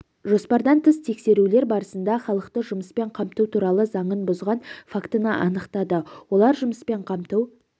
жоспардан тыс тексерулер барысында халықты жұмыспен қамту туралы заңын бұзған фактіні анықтады олар жұмыспен қамту